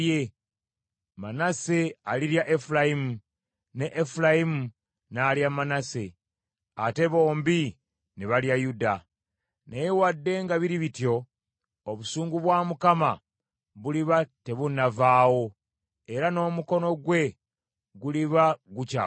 Manase alirya Efulayimu ne Efulayimu n’alya Manase ate bombi ne balya Yuda. Naye wadde nga biri bityo, obusungu bwa Mukama buliba tebunnavaawo, era n’omukono gwe guliba gukyagoloddwa.